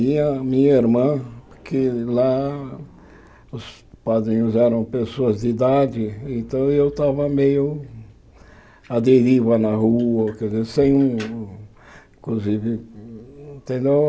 a minha irmã, que lá os padrinhos eram pessoas de idade, então eu estava meio à deriva na rua, quer dizer, sem um... Inclusive, entendeu?